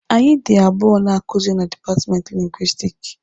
Anyị dị abụọ na-akuzi na dipatmenti Lingwisitiki.